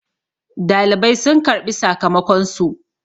dalibai sun karɓi sakamakonsu